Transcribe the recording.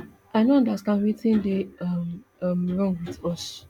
i no understand wetin dey um um wrong wit us